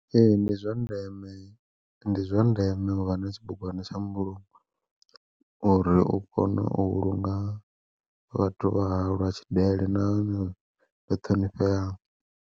Ee ndi zwa ndeme ndi zwandeme uvha na tshibugwana tsha mbulungo, uri u kone u vhulunga vhathu vha hau lwa tshidele nahone lu ṱhonifheaho.